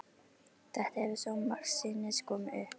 Þetta hefur svo margsinnis komið upp.